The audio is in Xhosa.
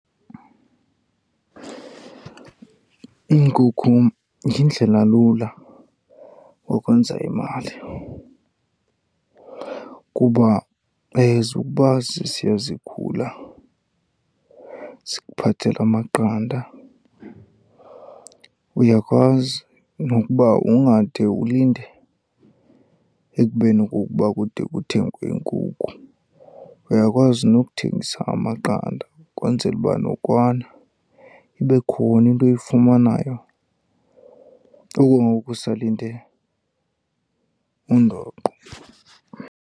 Iinkukhu yindlela lula yokwenza imali kuba as ukuba zisiya zikhula zikuphathela amaqanda. Uyakwazi nokuba ungade ulinde ekubeni okokuba kude kuthengwe inkukhu, uyakwazi nokuthengisa amaqanda ukwenzela uba nokwana ibe khona into oyifumanayo okwangoku usalinde undoqo.